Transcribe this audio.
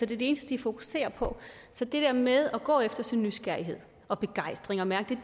det er det eneste de fokuserer på så det der med at gå efter sin nysgerrighed og begejstring og mærke